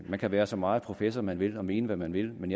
man kan være så meget professor man vil og mene hvad man vil men